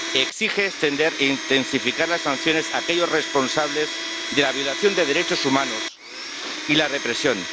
Exige extender e intensificar las sanciones a los responsables de la violación de los derechos humanos y de la represión.